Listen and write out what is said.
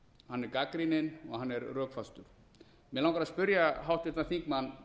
hann er gagnrýnin og hann er rökfastur mig langar aftur á móti að spyrja háttvirtan þingmann